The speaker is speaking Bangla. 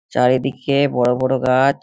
চারিদিকে বড়ো বড়ো গা-আ-ছ ।